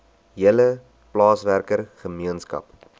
hele plaaswerker gemeenskap